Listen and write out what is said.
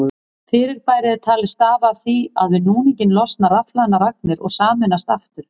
Fyrirbærið er talið stafa af því að við núninginn losna rafhlaðnar agnir og sameinast aftur.